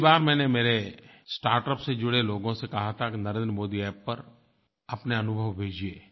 पिछ्ली बार मैंने मेरे स्टार्टअप से जुड़े लोगों से कहा था कि नरेंद्र मोदी अप्प पर अपने अनुभव भेजिए